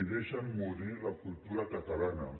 deixen morir la cultura catalana